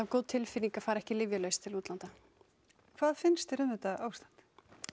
góð tilfinning að fara ekki lyfjalaus til útlanda hvað finnst þér um þetta ástand